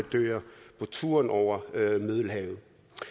turen over middelhavet